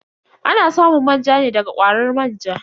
Ana samun manja ne da ga kwarar manja.